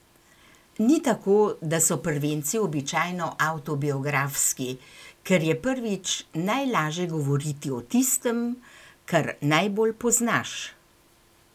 Ni tako, da so prvenci običajno avtobiografski, ker je prvič najlaže govoriti o tistem, kar najbolj poznaš?